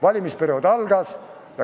Valimisperiood algas.